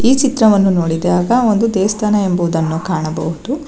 ಈ ಚಿತ್ರವನ್ನು ನೋಡಿದಾಗ ಒಂದು ದೇವಸ್ಥಾನ ಎಂಬುವುದನ್ನು ಕಾಣಬಹುದು.